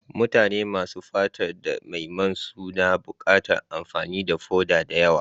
Mutane masu fatar da mai man suna buƙatar amfani da foda da yawa.